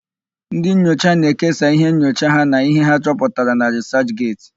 Ndị nyocha na-ekesa íhé nyocha ha na íhé ha chọputara na rịsachget.